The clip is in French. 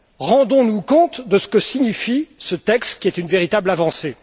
Rendons nous compte de ce que signifie ce texte, qui constitue une véritable avancée!